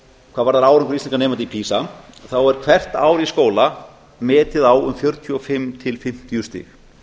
hvað varðar árangur íslenskra nemenda í pisa er hvert ár í skóla metið á um fjörutíu og fimm til fimmtíu stig